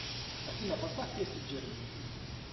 афина поставь песню джереми